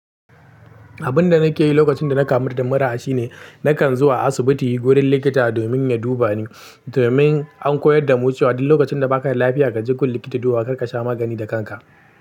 Abun da nake yi lokacin da na kamu da mura shine nakan zuwa asibiti wurin likita domin ya duba ni. Domin an koyar da mu cewa duk lokacin da baka lafiya ka je gun likita duba, kar ka sha magani da kanka.